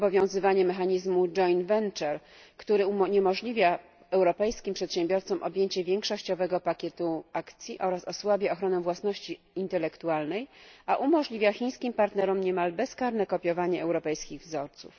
obowiązywanie mechanizmu który uniemożliwia europejskim przedsiębiorcom objęcie większościowego pakietu akcji oraz osłabia ochronę własności intelektualnej, a umożliwia chińskim partnerom niemal bezkarne kopiowanie europejskich wzorców.